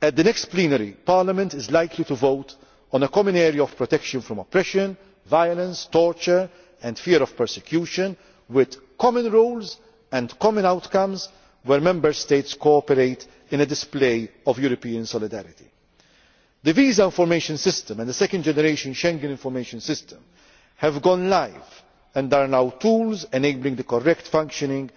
At the next plenary, Parliament is likely to vote on a common area of protection from oppression, violence, torture and fear of persecution, with common rules and common outcomes, where Member States cooperate in a display of European solidarity. The Visa Information System and the second generation Schengen Information System have gone live and are now tools enabling the correct functioning